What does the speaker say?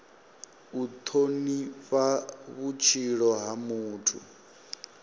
u thonifha vhutshilo ha muthu